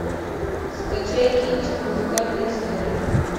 скачай кинчик музыкальная история